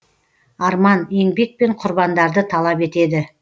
арман еңбек пен құрбандарды талап етеді